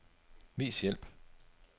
Vis hjælp.